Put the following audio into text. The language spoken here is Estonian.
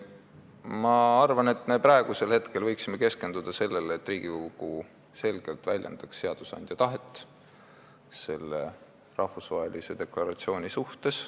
Ma arvan, et me võiksime praegu keskenduda sellele, et Riigikogu selgelt väljendaks seadusandja tahet selle rahvusvahelise deklaratsiooni suhtes.